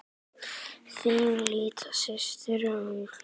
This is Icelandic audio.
Þín litla systir, Áslaug.